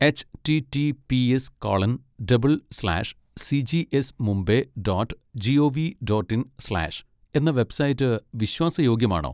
H T T P S colon double slash C G S Mumbai dot G O V dot in slash , എന്ന web site വിശ്വാസ യോഗ്യമാണോ?